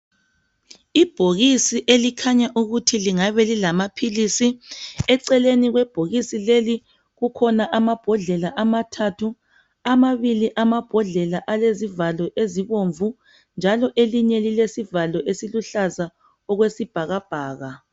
Ibhokisi elikhanya ukuthi lingabe lilamaphilisi eceleni kwebhokisi leli kukhona amabhodlela ama thathu , amabili amabhodlela alezivalo ezibomvu njalo elinye lilesivalo esiluhlaza okwesibhaka bhaka.